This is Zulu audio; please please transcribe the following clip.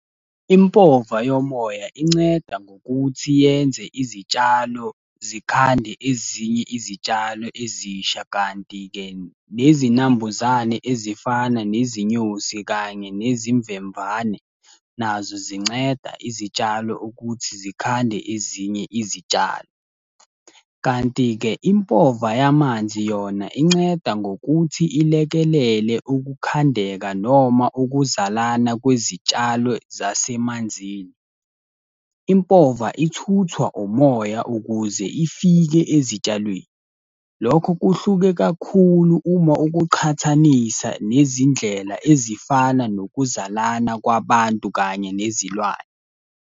Impova yomoya inceda ngokuthi yenze izitshalo zikhande ezinye izitshalo ezisha, kanti-ke nezinambuzane ezifana nezinyosi kanye nezimvemvane nazo zinceda izitshalo ukuthi zikhande ezinye izitshalo. Kanti-ke, impova yamanzi yona inceda ngokuthi ilekelele ukukhandeka noma ukuzalana kwezitshalo zasemanzini. Impova ithuthwa umoya ukuze ifike ezitshalweni. Lokho kuhluke kakhulu uma ukuqhathanisa nezindlela ezifana nokuzalana kwabantu kanye nezilwane.